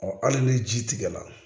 Ɔ hali ni ji tigɛra